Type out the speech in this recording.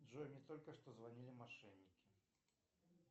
джой мне только что звонили мошенники